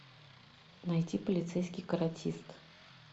найти полицейский каратист